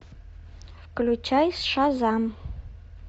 включай шазам